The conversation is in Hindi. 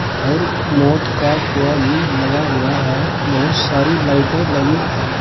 और मौत का कुआं भी लगा हुआ है बहोत सारी लाइटे लगी है।